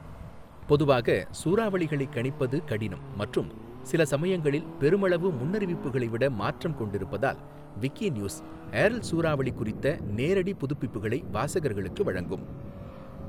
பொதுவாக சூறாவளிகளை கணிப்பது கடினம் மற்றும் சில சமயங்களில் பெருமளவு முன்னறிவிப்புகளை விட மாற்றம் கொண்டிருப்பதால், விக்கிநியூஸ் ஏர்ல் சூறாவளி குறித்த நேரடி புதுப்பிப்புகளை வாசகர்களுக்கு வழங்கும்.